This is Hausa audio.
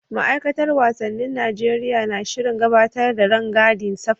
Ma'aikatar wasannin Najeriya na shirin gabatar da rangadin safari.